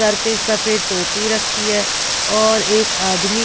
Sir पे सफेद टोपी रखी हैऔर एक आदमी।